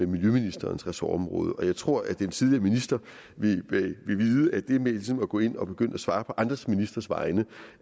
miljøministerens ressortområde jeg tror at en tidligere minister vil vide at det med ligesom at gå ind og begynde at svare på andre ministres vegne